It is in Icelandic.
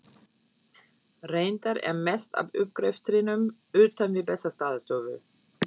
Reyndar er mest af uppgreftrinum utan við Bessastaðastofu.